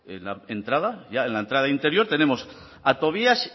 en la entrada ya en la entrada interior tenemos a tobías